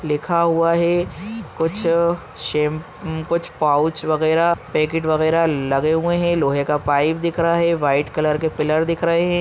लिखा हुआ है कुछ शैम - कुछ पाउच वगैरह पैकेट वगैरह लगे हुए है लोहे का पाइप दिख रहा है व्हाइट कलर के पिलर दिख रहे है।